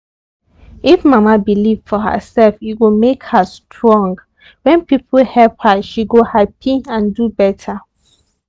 if mama believe for herself e go make her strong. when people help her she go happy and do better.